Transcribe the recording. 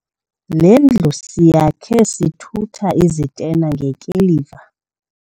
Le ndlu siyakhe sithutha izitena ngekiliva.